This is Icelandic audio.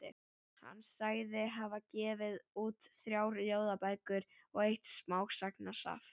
Hann sagðist hafa gefið út þrjár ljóðabækur og eitt smásagnasafn.